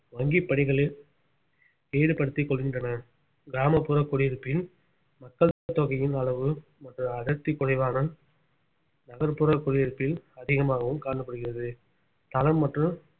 வங்கிப் பணிகளில் ஈடுபடுத்திக் கொள்கின்றனர் கிராமப்புற குடியிருப்பின் மக்கள் தொகையின் அளவு மற்றும் அடர்த்தி குறைவான நகர்ப்புற குடியிருப்பில் அதிகமாகவும் காணப்படுகிறது தளம் மற்றும்